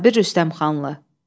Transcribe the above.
Sabir Rüstəmxanlı.